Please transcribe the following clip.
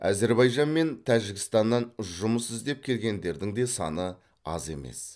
әзербайжан мен тәжікстаннан жұмыс іздеп келгендердің де саны аз емес